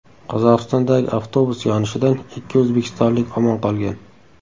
Qozog‘istondagi avtobus yonishidan ikki o‘zbekistonlik omon qolgan.